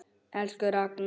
Elsku Ragna.